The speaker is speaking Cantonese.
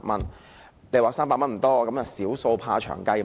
三百元看來不多，但"小數怕長計"。